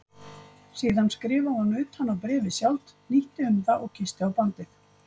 Síðan skrifaði hún utan á bréfið sjálft, hnýtti um það og kyssti á bandið.